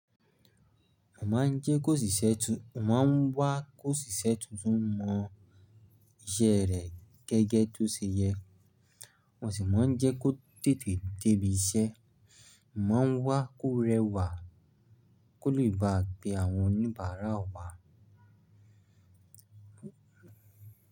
Mo máa ń jẹ́ kó ṣiṣẹ́ tún, ọ̀ máa ń wá ki oṣiṣẹ́ tuntun mọ iṣẹ́ rẹ̀ gẹ́gẹ́ tó ṣe yẹ, mo sì máa ń jẹ́ kó tètè dé ibi iṣẹ́, ọ̀ máa ń wá kó rẹwà, kó lè ba pe àwọn oníbàárà wa.